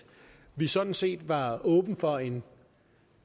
vi sådan set var åbne for en